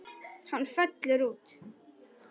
Hann fellur út.